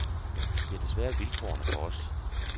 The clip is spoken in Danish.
Det er desværre vilkårene for os.